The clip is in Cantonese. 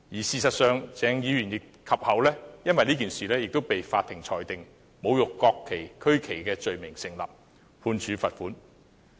事實上，鄭議員其後也因此被法庭裁定侮辱國旗和區旗罪名成立，判處罰款。